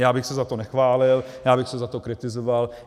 Já bych se za to nechválil, já bych se za to kritizoval.